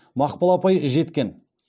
мақпал апай жеткен